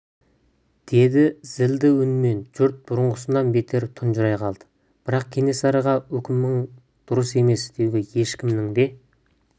деді зілді үнмен жұрт бұрынғысынан бетер тұнжырай қалды бірақ кенесарыға үкімің дұрыс емес деуге ешкімнің де